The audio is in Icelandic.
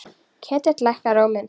Ketill lækkar róminn.